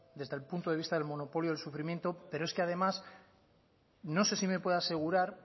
desde el punto de vista del monopolio del sufrimiento pero es que además no se si me puede asegurar